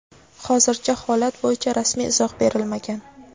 hozircha holat bo‘yicha rasmiy izoh berilmagan.